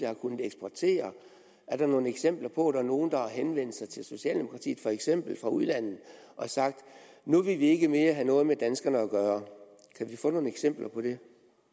har kunnet eksportere er der nogle eksempler på at der er nogle der har henvendt sig til socialdemokratiet for eksempel fra udlandet og sagt nu vil vi ikke mere have noget med danskerne at gøre kan vi få nogle eksempler på det